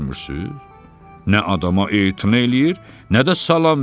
Nə adama etina eləyir, nə də salam verir.